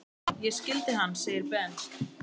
Ég skildi hann! segir Ben.